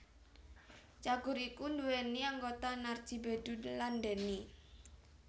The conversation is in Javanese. Cagur iku nduweni anggota Narji Bedu lan Denny